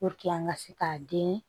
an ka se k'a den